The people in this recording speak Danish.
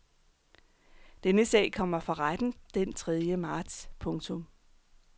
Denne sag kommer for retten den tredje marts. punktum